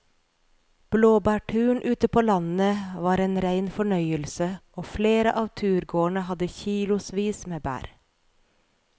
Blåbærturen ute på landet var en rein fornøyelse og flere av turgåerene hadde kilosvis med bær.